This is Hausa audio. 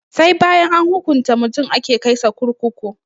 Sai bayan an hukunta mutum ake kai sa kurkuku